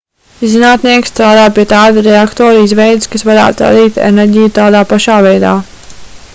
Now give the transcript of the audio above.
zinātnieki strādā pie tāda reaktora izveides kas varētu radīt enerģiju tādā pašā veidā